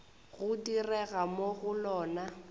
go direga mo go lona